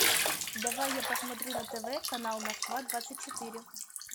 давай я посмотрю на тв канал москва двадцать четыре